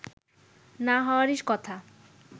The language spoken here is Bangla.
না হওয়ারই কথা